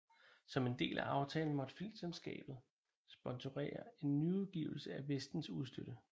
Som en del af aftalen måtte filmselskabet sponsorere en nyudgivelse af Vestens udstødte